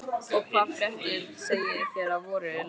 Og hvaða fréttir segið þér af voru landi Íslandi?